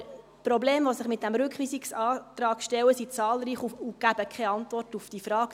Aber die Probleme, die sich mit diesem Rückweisungsantrag stellen, sind zahlreich und geben keine Antwort auf diese Frage.